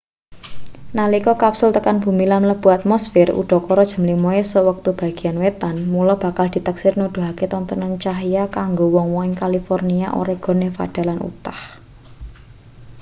nalika kapsul tekan bumi lan mlebu atmosfir udakara jam 5 esuk wektu bagean wétan mula bakal diteksir nuduhake tontonan cahya kanggo wong-wong ing kalifornia oregon nevada lan utah